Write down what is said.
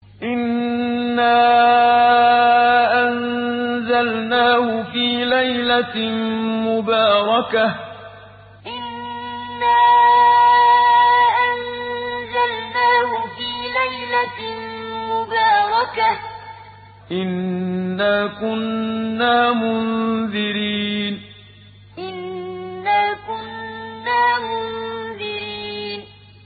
إِنَّا أَنزَلْنَاهُ فِي لَيْلَةٍ مُّبَارَكَةٍ ۚ إِنَّا كُنَّا مُنذِرِينَ إِنَّا أَنزَلْنَاهُ فِي لَيْلَةٍ مُّبَارَكَةٍ ۚ إِنَّا كُنَّا مُنذِرِينَ